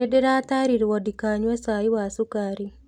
Nĩ ndĩratarirwo ndikanyue cai wa cukari.